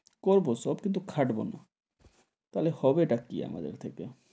করবো সব কিছু খাটবো না, তাহলে হবে তা কি আমাদের থেকে,